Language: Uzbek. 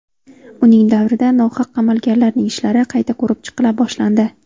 Uning davrida nohaq qamalganlarning ishlari qayta ko‘rib chiqila boshlandi.